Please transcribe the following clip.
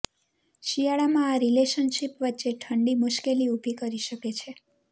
શિયાળામાં આ રિલેશનશિપ વચ્ચે ઠંડી મુશ્કેલી ઉભી કરી શકે છે